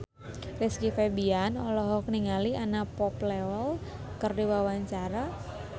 Rizky Febian olohok ningali Anna Popplewell keur diwawancara